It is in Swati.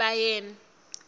sibayeni